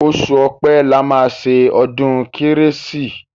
Oṣù ọ̀pẹ̀ la máa ṣe ọdún kérésì.